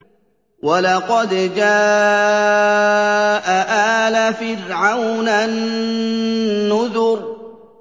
وَلَقَدْ جَاءَ آلَ فِرْعَوْنَ النُّذُرُ